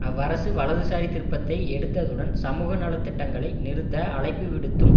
அவ்வரசு வலதுசாரி திருப்பத்தை எடுத்ததுடன் சமூக நல திட்டங்களை நிறுத்த அழைப்பு விடுத்தும்